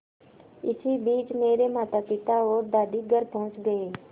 इसी बीच मेरे मातापिता और दादी घर पहुँच गए